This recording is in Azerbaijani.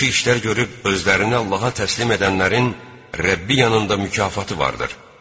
yaxşı işlər görüb özünü Allaha təslim edənlərin Rəbbi yanında mükafatı vardır.